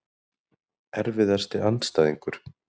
Erfiðasti andstæðingur?